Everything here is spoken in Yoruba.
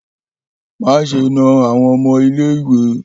Maṣe na awọn ọmọ ile-iwe!